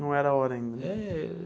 Não era a hora ainda. É.